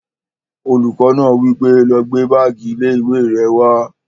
Olùkọ́ náà wí pé, "lọ gbé báàgì ilé-ìwé rẹ wá!"